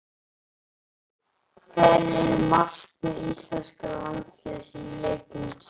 Hver eru markmið íslenska landsliðsins í leikjunum tveimur?